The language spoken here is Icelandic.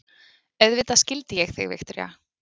Auðvitað skildi ég þig, Viktoría.